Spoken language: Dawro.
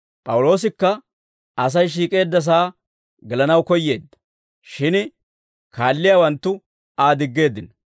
P'awuloosikka Asay shiik'eeddasaa gelanaw koyyeedda. Shin kaalliyaawanttu Aa diggeeddino.